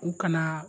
U kana